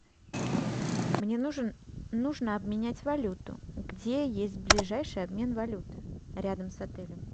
мне нужен нужно обменять валюту где есть ближайший обмен валюты рядом с отелем